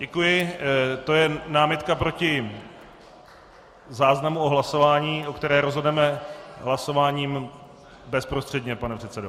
Děkuji, to je námitka proti záznamu o hlasování, o kterém rozhodneme hlasováním bezprostředně, pane předsedo.